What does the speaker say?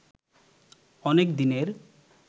অনেক দিনের